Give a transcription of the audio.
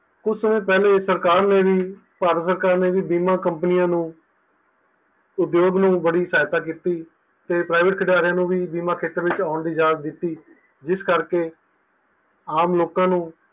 ਕੁਜ ਸਮੇ ਪਹਿਲੇ ਸਰਕਾਰ ਨੇ ਵੀ ਭਾਰਤ ਸਰਕਾਰ ਨੇ ਵੀ ਬੀਮਾ ਕੰਪਨੀਆਂ ਨੂੰ ਉਦਯੋਗ ਨੂੰ ਬੜੀ ਸਹਾਇਤਾ ਕੀਤੀ ਤੇ private ਖੰਡੇਰੀਆ ਨੂੰ ਬੀਮਾ ਖੇਤਰ ਵਿੱਚ ਆਉਣ ਦੀ ਇਜਾਜ਼ਤ ਦਿੱਤੀ ਜਿਸ ਕਰਕੇ ਆਮ ਲੋਕਾਂ ਨੂੰ